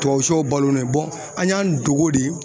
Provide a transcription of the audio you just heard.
Tubabu shew balolen an y'an dogo de